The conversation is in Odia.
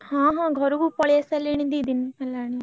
ହଁ ହଁ ଘରକୁ ପଳେଇ ଆସି ସାରିଲେଣି ଦି ଦିନ ହେଲାଣି।